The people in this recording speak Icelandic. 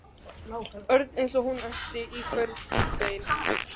Örn eins og hún ætti í honum hvert bein.